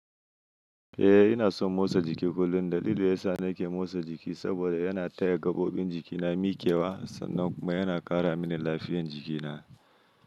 Eh ina son motsa jiki kullum, dalilin da yasa nake motsa jiki saboda yana taya gaɓoɓin jikina mikewa, sannan kuma yana ƙara mini lafiyar jikina.